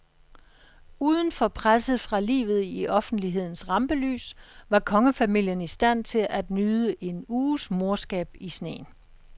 Udenfor presset fra livet i offentlighedens rampelys var kongefamilien i stand til at nyde en uges morskab i sneen.